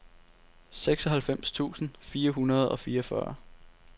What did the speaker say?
seksoghalvfems tusind fire hundrede og fireogfyrre